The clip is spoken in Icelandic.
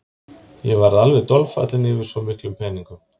Ég varð alveg dolfallinn yfir svo miklum peningum.